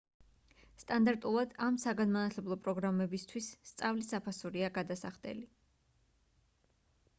სტანდარტულად ამ საგანმანათლებლო პროგრამებითვის სწავლის საფასურია გადასახდელი